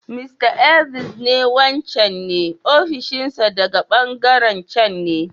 Mr. Elvis ne wancan ne ofishin sa daga ɓangaren can ne.